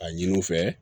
A ɲini u fɛ